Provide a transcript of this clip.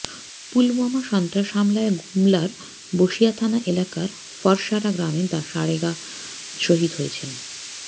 পুলওয়ামা সন্ত্রাস হামলায় গুমলার বসিয়া থানা এলাকার ফরসারা গ্রামে সারেগা শহিদ হয়েছেন